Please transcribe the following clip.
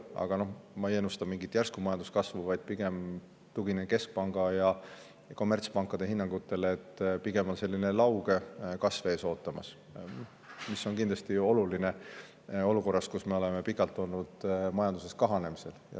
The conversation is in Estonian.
Aga noh, ma ei ennusta mingit järsku majanduskasvu, vaid tuginen keskpanga ja kommertspankade hinnangutele, et pigem on meid selline lauge kasv ees ootamas, mis on kindlasti oluline olukorras, kus meie majandus on pikalt kahanenud.